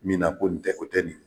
min na ko nin tɛ o tɛ nin ye.